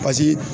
Paseke